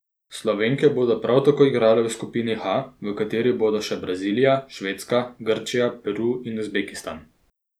Slovenke bodo prav tako igrale v skupini H, v kateri bodo še Brazilija, Švedska, Grčija, Peru in Uzbekistan.